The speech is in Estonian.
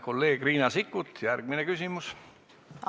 Kolleeg Riina Sikkut, järgmine küsimus, palun!